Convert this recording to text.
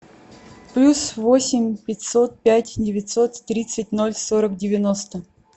плюс восемь пятьсот пять девятьсот тридцать ноль сорок девяносто